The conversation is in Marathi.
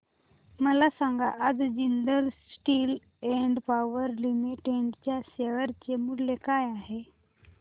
मला सांगा आज Jindal Steel and Power Limited च्या शेअर चे मूल्य काय आहे